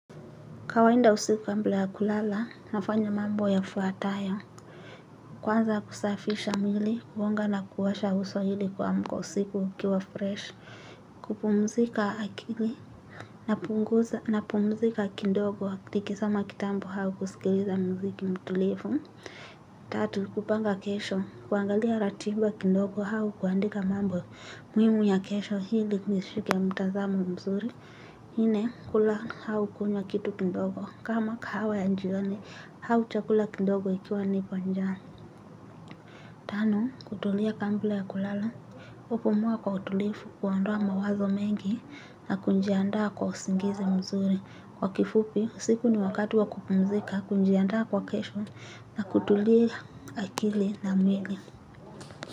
Kawainda usiku kambla ya kulala, nafanya mambo yafuatayo. Kwanza kusafisha mwili, kuonga na kuosha uso ili kuamka usiku ukiwa fresh. Kupumzika akili, napumzika kindogo, nikisoma kitambu hau kusikiliza mziki mtulivu. Tatu, kupanga kesho. Kuangalia ratiba kindogo hau kuandika mambo muhimu ya kesho hili nishike mtazamo mzuri. Nne kula hau kunywa kitu kindogo kama kahawa ya njioni hau chakula kindogo ikiwa nipo njaa. Tano kutulia kambla ya kulala. Kupumua kwa utulifu huondoa mawazo mengi na kunjiandaa kwa usingizi mzuri. Kwa kifupi usiku ni wakati wa kupumzika kunjiandaa kwa kesho na kutulia akili na mwili.